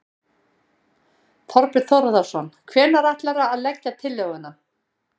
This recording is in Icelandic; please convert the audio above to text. Þorbjörn Þórðarson: Hvenær ætlarðu að leggja tillöguna?